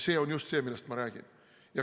See on just see, millest ma räägin.